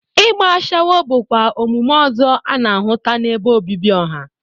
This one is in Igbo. Igba ashawo bụkwa omume ọzọ a na-ahụta n'ebe obibi ọha.